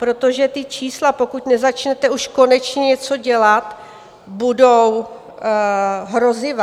Protože ta čísla, pokud nezačnete už konečně něco dělat, budou hrozivá.